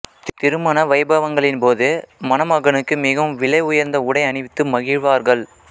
திருமண வைபவங்களின்போது மணமகனுக்கு மிகவும் விலை உயர்ந்த உடை அணிவித்து மகிழ்வார்கள்